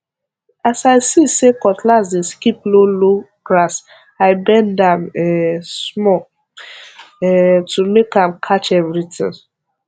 as i see say cutlass dey skip lowlow grass i bend am um small um to make am catch everything